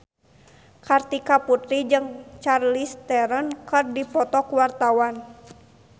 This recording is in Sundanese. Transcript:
Kartika Putri jeung Charlize Theron keur dipoto ku wartawan